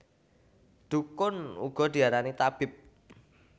Dhukun uga diarani tabib